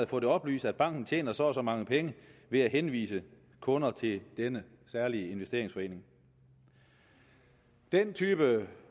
fået oplyst at banken tjener så og så mange penge ved at henvise kunder til denne særlige investeringsforening den type